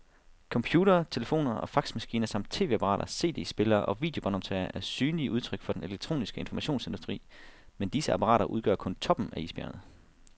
Computere, telefoner og faxmaskiner samt tv-apparater, cd-spillere og videobåndoptagere er synlige udtryk for den elektroniske informationsindustri, men disse apparater udgør kun toppen af isbjerget.